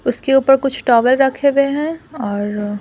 उसके ऊपर कुछ टॉवल रखे हुए हैं और--